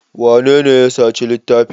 Wanene ya saci littafin?